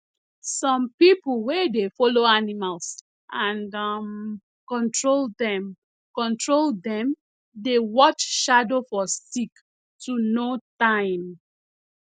some people wen dey follow animals and um control dem control dem dey watch shadow for stick to know time